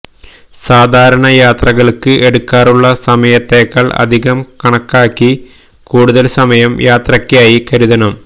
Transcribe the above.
സാധാരണ യാത്രകള്ക്ക് എടുക്കാറുള്ള സമയത്തേക്കാള് അധികം കണക്കാക്കി കൂടുതല് സമയം യാത്രക്കായി കരുതണം